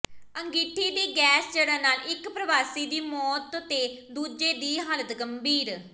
ਅੰਗੀਠੀ ਦੀ ਗੈਸ ਚੜ੍ਹਨ ਨਾਲ ਇਕ ਪ੍ਰਵਾਸੀ ਦੀ ਮੌਤ ਤੇ ਦੂਜੇ ਦੀ ਹਾਲਤ ਗੰਭੀਰ